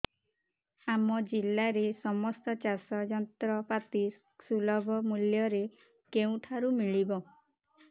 ଆମ ଜିଲ୍ଲାରେ ସମସ୍ତ ଚାଷ ଯନ୍ତ୍ରପାତି ସୁଲଭ ମୁଲ୍ଯରେ କେଉଁଠାରୁ ମିଳିବ